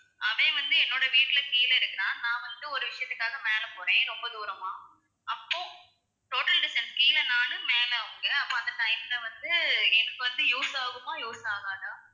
அவன் வந்து என்னோட வீட்டுல கீழ இருக்குறான் நான் வந்து ஒரு விஷயத்துக்காக மேலே போறேன் ரொம்ப தூரமா அப்போ total distance கீழ நான் மேல அவங்க அப்போ அந்த time ல வந்து எனக்கு வந்து use ஆகுமா use ஆகாதா?